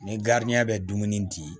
Ni bɛ dumuni di